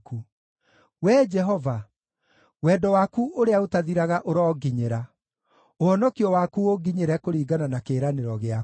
Wee Jehova, wendo waku ũrĩa ũtathiraga ũronginyĩra, ũhonokio waku ũnginyĩre kũringana na kĩĩranĩro gĩaku;